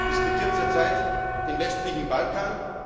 muss. Wir diskutieren zurzeit den westlichen